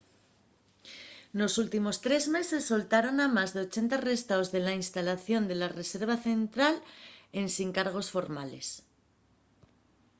nos últimos 3 meses soltaron a más de 80 arrestaos de la instalación de la reserva central ensin cargos formales